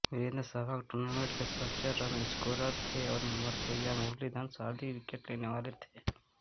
Virendra Sehwag tournament के सर्वोच्च run scorer थे और मुथैया मुरलीधरन सर्वाधिक विकेट लेने वाले थे